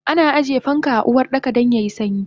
Ana ajiye fanka a Uwardaka dan yayi sanyi